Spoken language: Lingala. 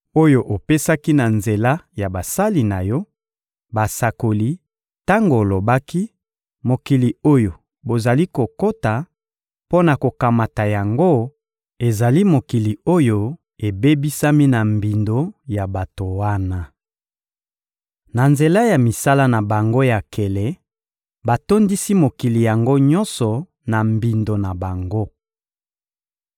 oyo opesaki na nzela ya basali na Yo, basakoli, tango olobaki: ‹Mokili oyo bozali kokota mpo na kokamata yango ezali mokili oyo ebebisami na mbindo ya bato wana. Na nzela ya misala na bango ya nkele, batondisi mokili yango nyonso na mbindo na bango.